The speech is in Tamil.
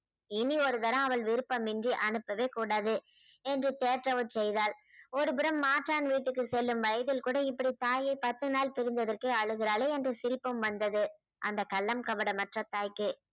இனி ஒரு தரம் அவள் விருப்பமின்றி அனுப்பவே கூடாது என்று தேற்றவர் செய்தால் ஒருபுறம் மாற்றான் வீட்டுக்கு செல்லும் வயதில் கூட இப்படி தாயை பத்து நாள் பிரிந்ததற்கே அழுகிறாளே என்று சிரிப்பும் வந்தது அந்த கள்ளம் கபடமற்ற தாய்க்கு